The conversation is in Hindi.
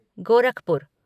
गोरखपुर,